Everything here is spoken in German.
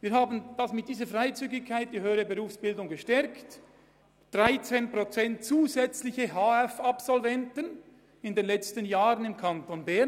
Wir hatten in den letzten Jahren im Kanton Bern 13 Prozent zusätzliche HF-Absolventen zu verzeichnen.